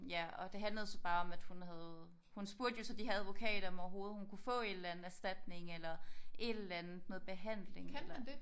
Ja og det handlede så bare om at hun havde hun spurgte jo så de her advokater om overhovedet hun kunne få et eller anden erstatning eller et eller andet noget behandling eller